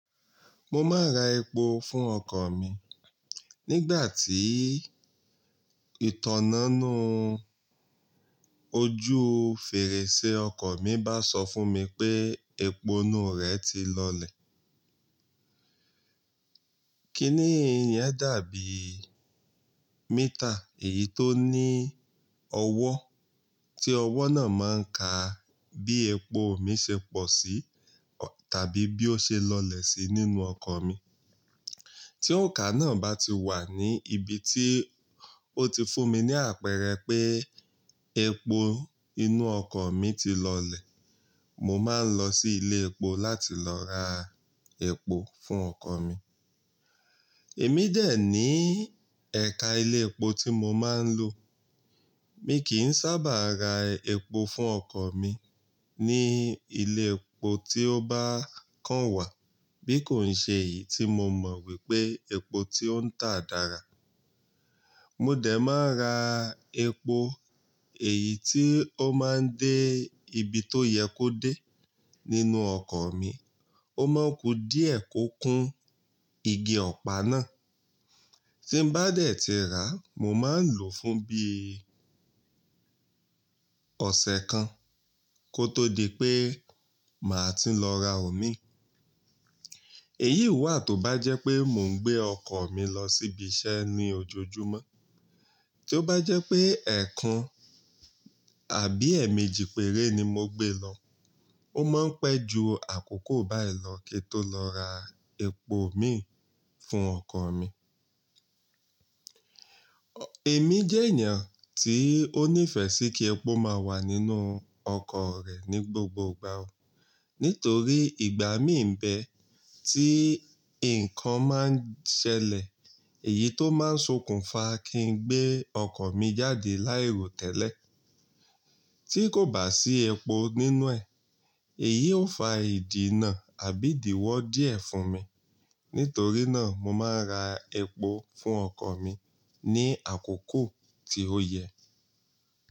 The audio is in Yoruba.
Mọ máa ń ra èpò fún ọkọ̀ mi nígbàtí ìtanná inú ojú fèrèsé ọkọ̀ mi bá sọ fún mi pé èpò inú rẹ̀ ti lọlẹ̀. Kíní ìrìn yẹn dàbí mítà èyí tó ní ọwọ́ tí ọwọ́ náà máa ń ka bí èpò mi ṣe pọ̀ sí tàbí bí ó ṣe lọlẹ̀ sí nínú ọkọ̀ mi. Tí òǹkà náà bá ti wà ní ibi tí ó ti fún mi ní àpẹẹrẹ pé èpò inú ọkọ̀ mi ti lọlẹ̀, mo máa ń lọ sí ilé èpò láti lọ ra èpò fún ọkọ̀ mi. Èmi dẹ̀ ní ẹ̀ka ilé èpò tí mo máa ń lò. Mi kìí sábà ra èpò fún ọkọ̀ mi ní ilé èpò tí ó bá kàn wà bí kò ń ṣe èyí tí mo mọ̀ wípé èpò tí ó ń tà dára. Mo dẹ̀ máa ń ra èpò èyí tí ó máa ń dé ibi tó yẹ kó dé nínú ọkọ̀ mi. Ó máa ń ku díẹ̀ kó kún igi ọ̀pá náà. Tí n bá dẹ̀ ti rà, mo máa ń lò fún bíi ọ̀sẹ̀ kan kó tó di pé màá tùn lọ ra òmí. Èyí wà tó bá jẹ́ pé mò ń gbé ọkọ̀ mi lọ síbi iṣẹ́ ní ojoojúmọ́. Tí ó bá jẹ́ pé èèkàn àbí èèmejì péré ni mo gbé lọ, ó máa ń pẹ́ ju àkókò báyìí lọ̀ kíi tó lọ ra èpò mì fún ọkọ̀ mí. Èmi jẹ́ ènìyàn tí ó nífẹ̀ẹ́ sí kí èpò máa wà nínú ọkọ̀ rẹ̀ ní gbogbo ìgbà o. Nítorí ìgbà mí ń bẹ tí nǹkan máa ń ṣẹlẹ̀ èyí tó máa ń sokùn fa kí n gbé ọkọ̀ mi jáde láì ro tẹ́lẹ̀ tí kò bá sí èpò nínú ẹ̀. Èyí ó fa ìdìnnà àbí ìdíwọ́ díẹ̀ fún mi. Nítorí náà mo máa ń ra epo fún ọkọ̀ mi ní àkókò tí ó yẹ.